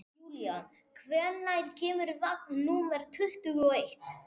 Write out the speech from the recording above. Júlían, hvenær kemur vagn númer tuttugu og eitt?